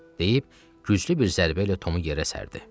Deyib güclü bir zərbə ilə Tomu yerə sərdi.